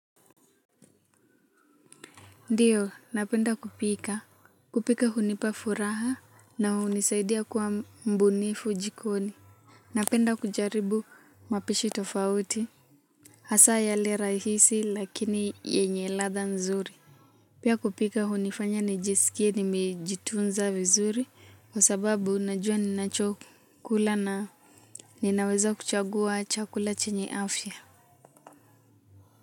Ndiyo, napenda kupika. Kupika hunipa furaha na hunisaidia kuwa mbunifu jikoni. Napenda kujaribu mapishi tofauti. Hasa yale rahisi lakini yenye ladha nzuri. Pia kupika hunifanya nijisikie nimejitunza vizuri kwa sababu ninajua ninachokula na ninaweza kuchagua chakula chenye afya.